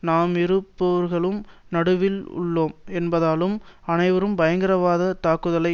நாம் இரு போர்களுக்கு நடுவில் உள்ளோம் என்பதாலும் அனைவரும் பயங்கரவாதத் தாக்குதலை